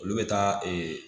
Olu bɛ taa